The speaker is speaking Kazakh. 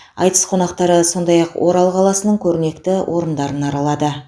айтыс қонақтары сондай ақ орал қаласының көрнекті орындарын да аралады